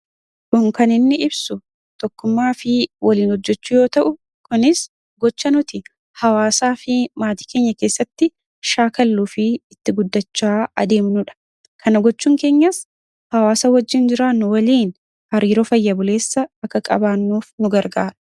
Kun kan inni ibsu tokkummaa fi waliin hojjachuu yoo ta'u, kunis gochaa nuti hawaasaa fi maatii keenya keessatti shaakalluu fi itti guddachaa adeemnudha. Kana gochuun keenyas hawaasa wajjin jiraannu waliin hariiroo fayya buleessa akka qabaannuuf nu gargaara.